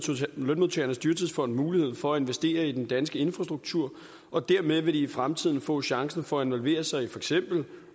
lønmodtagernes dyrtidsfond muligheden for at investere i den danske infrastruktur og dermed vil de i fremtiden få chancen for at involvere sig i for eksempel